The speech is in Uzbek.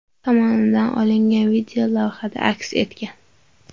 tomonidan olingan video lavhada aks etgan.